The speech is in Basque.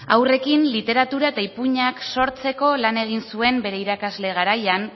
haurrekin literatura eta ipuinak sortzeko lana egin zuen bere irakasle garaian